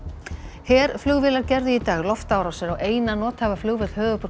herflugvélar gerðu í dag loftárásir á eina nothæfa flugvöll höfuðborgar